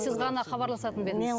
сіз ғана хабарласатын ба едіңіз